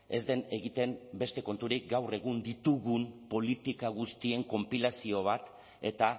ez den egiten beste konturik gaur egun ditugun politika guztien konpilazio bat eta